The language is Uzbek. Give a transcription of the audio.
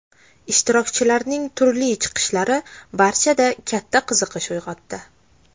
Ishtirokchilarning turli chiqishlari barchada katta qiziqish uyg‘otdi.